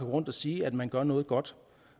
rundt og sige at man gør noget godt